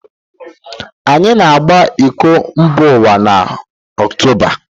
Anyị ga-agba iko mbaụwa n' ọktoba